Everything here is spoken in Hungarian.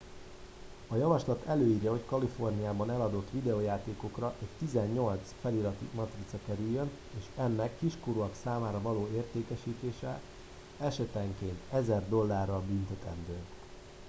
a javaslat előírja hogy a kaliforniában eladott videójátékokra egy 18 feliratú matrica kerüljön és ennek kiskorúak számára való értékesítése esetenként 1000 dollárral büntetendő